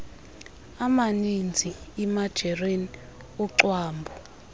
amanizi imajarini ucwambu